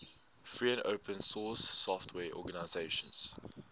free and open source software organizations